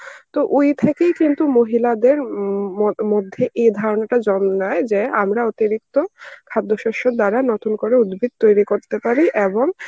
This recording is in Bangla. তো ওই থেকেই কিন্তু মহিলাদের উম ম~ মধ্যে এ ধারণাটা জন্ম নেয় যে আমরা অতিরিক্ত খাদ্যশস্যের দ্বারা নতুন করে উদ্ভিদ তৈরি করতে পারি এবং